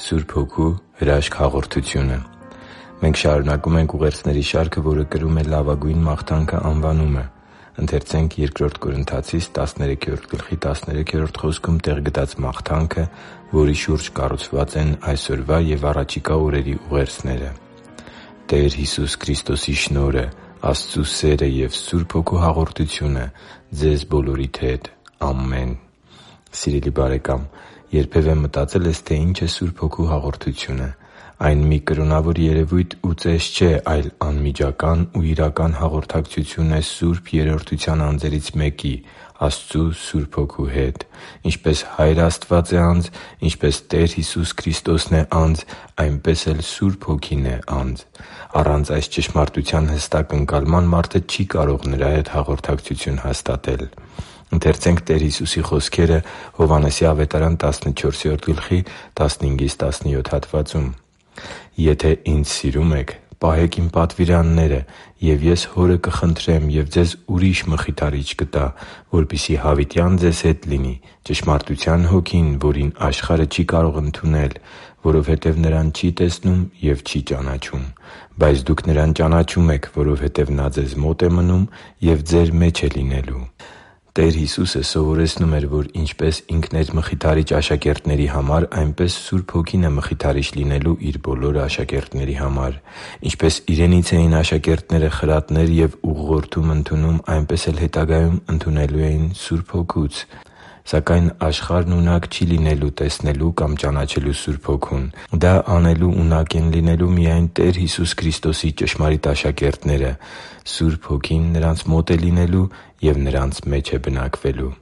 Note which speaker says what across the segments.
Speaker 1: Սուրբ Հոգու հրաշք հաղորդությունը Մենք շարունակում ենք ուղերձների շարքը, որը կրում է «Լավագույն մաղթանքը» անվանումը։ Ընթերցե՛նք Բ Կորնթացիս 13․13 խոսքում տեղ գտած մաղթանքը, որի շուրջ կառուցված են այսօրվա և առաջիկա օրերի ուղերձները․ «Տեր Հիսուս Քրիստոսի շնորհը, Աստծու սերը և Սուրբ Հոգու հաղորդությունը ձեզ բոլորիդ հետ։ Ամեն» (Բ Կորնթացիս 13․13): Սիրելի՛ բարեկամ, երբևէ մտածե՞լ ես, թե ինչ է Սուրբ Հոգու հաղորդությունը։ Այն մի կրոնավոր երևույթ ու ծես չէ, այլ անմիջական ու իրական հաղորդակցություն է Սուրբ Երրորդության անձերից մեկի՝ Աստծու Սուրբ Հոգու հետ։ Ինչպես Հայր Աստված է անձ, ինչպես Տեր Հիսուս Քրիստոսն է անձ, այնպես էլ Սուրբ Հոգին է անձ։ Առանց այս ճշմարտության հստակ ընկալման մարդը չի կարող Նրա հետ հաղորդակցություն հաստատել։ «Եթե Ինձ սիրում եք, պահե՛ք Իմ պատվիրանները։ Եվ ես Հորը կխնդրեմ, և ձեզ ուրիշ Մխիթարիչ կտա, որպեսզի հավիտյան ձեզ հետ լինի. ճշմարտության Հոգին, որին աշխարհը չի կարող ընդունել, որովհետև Նրան չի տեսնում և չի ճանաչում։ Բայց դուք Նրան ճանաչում եք, որովհետև Նա ձեզ մոտ է մնում ու ձեր մեջ է լինելու» (Հովհաննես 14․15-17): Տեր Հիսուսը սովորեցնում էր, որ ինչպես Ինքն էր Մխիթարիչ աշակերտների համար, այնպես Սուրբ Հոգին է Մխիթարիչ լինելու Իր բոլոր աշակերտների համար։ Ինչպես Իրենից էին աշակերտները խրատներ և ուղղորդում ընդունում, այնպես էլ հետագայում ընդունելու էին Սուրբ Հոգուց։ Սակայն աշխարհն ունակ չի լինելու տեսնելու կամ ճանաչելու Սուրբ Հոգուն։ Դա անելու ունակ են լինելու միայն Տեր Հիսուս Քրիստոսի ճշմարիտ աշակերտները։ Սուրբ Հոգին նրանց մոտ է լինելու և նրանց մեջ է բնակվելու։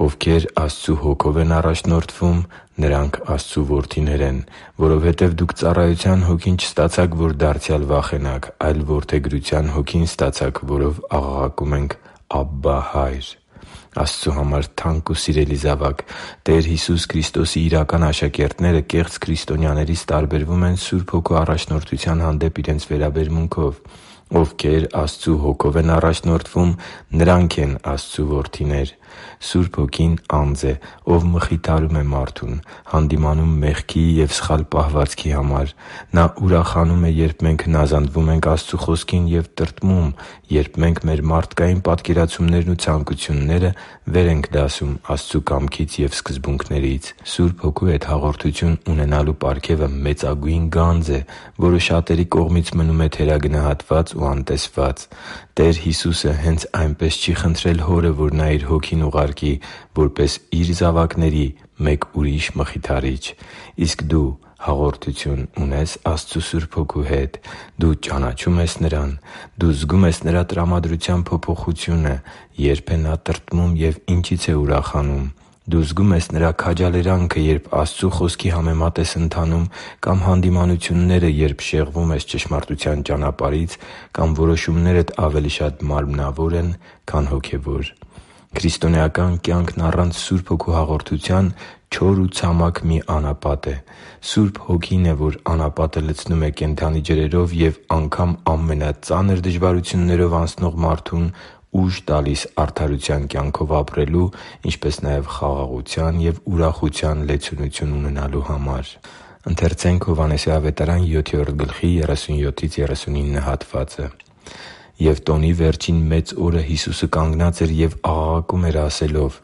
Speaker 1: «Ովքեր Աստծու Հոգով են առաջնորդվում, նրանք Աստծու որդիներ են։ Որովհետև դուք ծառայությա՛ն հոգին չստացաք, որ դարձյալ վախենաք, այլ որդեգրությա՛ն Հոգին ստացաք, որով աղաղակում ենք. «Աբբա՛, Հա՛յր» (Հռոմեացիս 8․14-15): Աստծու համար թանկ ու սիրելի՛ զավակ, Տեր Հիսուս Քրիստոսի իրական աշակերտները կեղծ քրիստոնյաներից տարբերվում են Սուրբ Հոգու առաջնորդության հանդեպ իրենց վերաբերմունքով։ Ովքեր Աստծու Հոգով են առաջնորդվում, նրանք են Աստծու որդիներ։ Սուրբ Հոգին անձ է, Ով մխիթարում է մարդուն, հանդիմանում մեղքի և սխալ պահվածքի համար։ Նա ուրախանում է, երբ մենք հնազանդվում ենք Աստծու Խոսքին և տրտմում, երբ մենք մեր մարդկային պատկերացումներն ու ցանկությունները վեր ենք դասում Աստծու կամքից և սկզբունքներից։ Սուրբ Հոգու հետ հաղորդություն ունենալու պարգևը մեծագույն գանձ է, որը շատերի կողմից մնում է թերագնահատված ու անտեսված։ Տեր Հիսուսը հենց այնպես չի խնդրել Հորը, որ Նա Իր Հոգին ուղարկի՝ որպես Իր զավակների մեկ ուրիշ Մխիթարիչ։ Իսկ դու հաղորդություն ունե՞ս Աստծու Սուրբ Հոգու հետ։ Դու ճանաչո՞ւմ ես Նրան։ Դու զգո՞ւմ ես Նրա տրամադրության փոփոխությունը՝ երբ է Նա տրտմում և ինչի՞ց է ուրախանում։ Դու զգո՞ւմ ես Նրա քաջալերանքը, երբ Աստծու Խոսքի համեմատ ես ընթանում, կամ հանդիմանությունները, երբ շեղվում ես ճշմարտության ճանապարհից կամ որոշումներդ ավելի շատ մարմնավոր են, քան՝ հոգևոր․․․ Քրիստոնեական կյանքն առանց Սուրբ Հոգու հաղորդության չոր ու ցամաք մի անապատ է։ Սուրբ Հոգին է, որ այդ անապատը լցնում է կենդանի ջրերով և անգամ ամենածանր դժվարություններով անցնող մարդուն ուժ տալիս արդարության կյանքով ապրելու, ինչպես նաև խաղաղության և ուրախության լեցունություն ունենալու համար։ «Եվ տոնի վերջին մեծ օրը Հիսուսը կանգնած էր և աղաղակում էր՝ ասելով.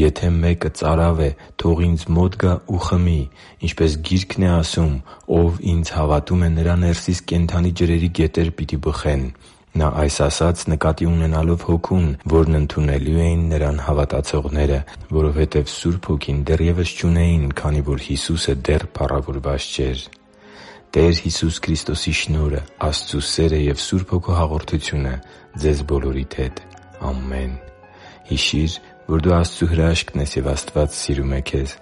Speaker 1: «Եթե մեկը ծարավ է, թող Ինձ մոտ գա ու խմի։ Ինչպես Գիրքն է ասում. "Ով Ինձ հավատում է, նրա ներսից կենդանի ջրերի գետեր պիտի բխեն"»։ Նա այս ասաց՝ նկատի ունենալով Հոգուն, որն ընդունելու էին Նրան հավատացողները, որովհետև Սուրբ Հոգին դեռևս չունեին, քանի որ Հիսուսը դեռ փառավորված չէր» (Հովհաննես 7․37-39): «Տեր Հիսուս Քրիստոսի շնորհը, Աստծու սերը և Սուրբ Հոգու հաղորդությունը ձեզ բոլորիդ հետ։ Ամեն» Հիշի՛ր, որ դու Աստծո հրաշքն ես, և Աստված սիրում է քեզ։